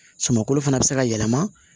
Sumankolo fana bɛ se ka yɛlɛma